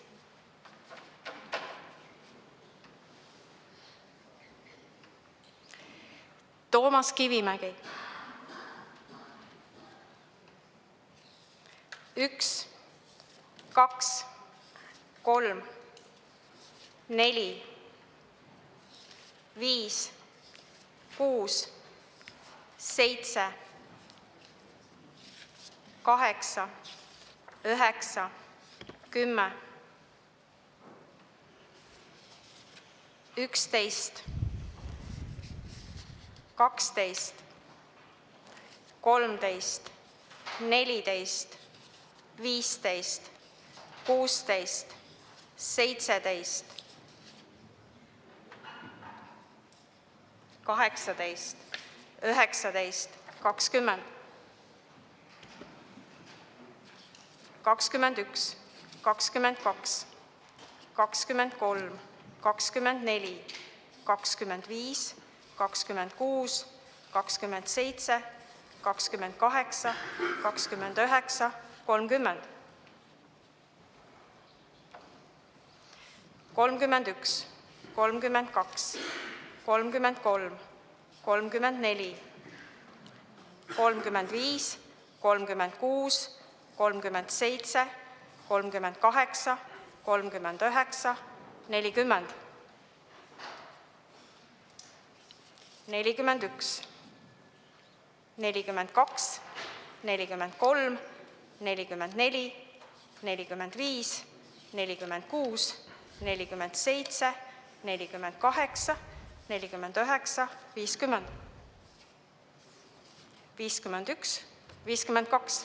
Toomas Kivimägi: 1, 2, 3, 4, 5, 6, 7, 8, 9, 10, 11, 12, 13, 14, 15, 16, 17, 18, 19, 20, 21, 22, 23, 24, 25, 26, 27, 28, 29, 30, 31, 32, 33, 34, 35, 36, 37, 38, 39, 40, 41, 42, 43, 44, 45, 46, 47, 48, 49, 50, 51, 52.